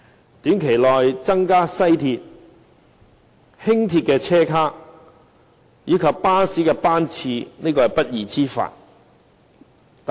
在短期內增加西鐵、輕鐵車卡及巴士班次，是不二之法。